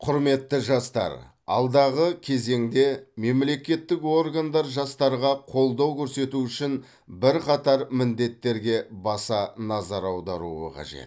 құрметті жастар алдағы кезеңде мемлекеттік органдар жастарға қолдау көрсету үшін бірқатар міндеттерге баса назар аударуы қажет